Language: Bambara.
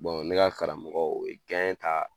ne ka karamɔgɔ o ye ta